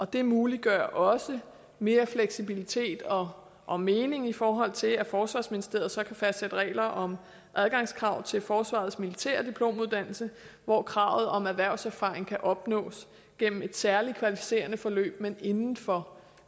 det muliggør også mere fleksibilitet og og mening i forhold til at forsvarsministeriet så kan fastsætte regler om adgangskrav til forsvarets militære diplomuddannelse hvor kravet om erhvervserfaring kan opnås gennem et særlig kvalificerende forløb men inden for